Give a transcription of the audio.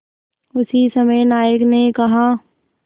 उसी समय नायक ने कहा